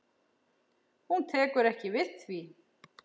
Hún tekur ekki við því.